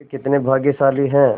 वे कितने भाग्यशाली हैं